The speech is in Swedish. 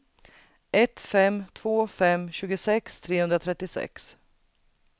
ett fem två fem tjugosex trehundratrettiosex